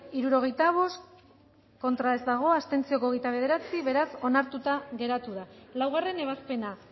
hirurogeita hamalau eman dugu bozka berrogeita bost boto aldekoa hogeita bederatzi abstentzio beraz onartuta geratu da laugarrena ebazpena